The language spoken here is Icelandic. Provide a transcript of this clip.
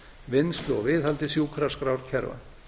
vinnslu og viðhaldi sjúkraskrárkerfa